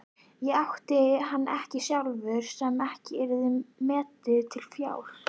Átti hann ekkert sjálfur sem ekki yrði metið til fjár?